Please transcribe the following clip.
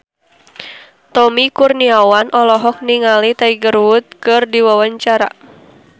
Tommy Kurniawan olohok ningali Tiger Wood keur diwawancara